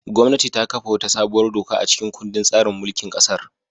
Gwamnati ta kafa wata sabuwar doka a cikin kundin tsarin mulkin kasar.